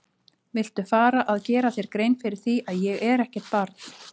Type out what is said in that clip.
Viltu fara að gera þér grein fyrir því að ég er ekkert barn!